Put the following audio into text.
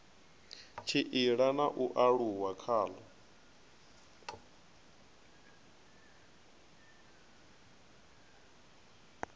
tshila na u aluwa khalo